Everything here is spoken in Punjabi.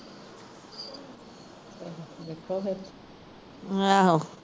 ਦੇਖੋ ਫੇਰ